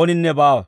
ooninne baawa.